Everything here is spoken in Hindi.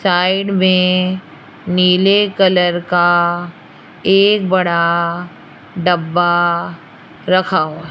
साइड में नीले कलर का एक बड़ा डब्बा रखा हुआ--